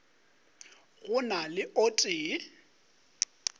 go na le o tee